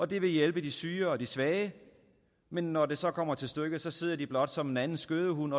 de vil hjælpe de syge og de svage men når det så kommer til stykket sidder de blot som en anden skødehund